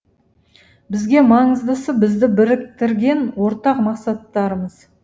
бізге маңыздысы бізді біріктіретін ортақ мақсаттарымыз